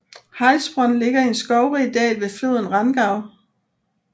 Heilsbronn ligger i en skovrig dal ved floden Rangau